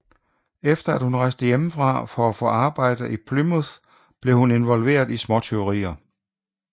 Efter at hun rejste hjemmefra for at få arbejde i Plymouth blev hun involveret i småtyverier